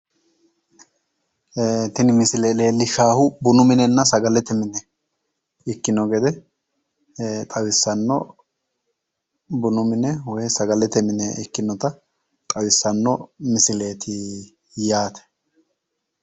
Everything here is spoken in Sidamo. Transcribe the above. Tini misile leellishshaahu bunu minenenna sagalete mine ikkinota xawissawo bunu minennna woy sagalete mine ikkinota xawissanno yaate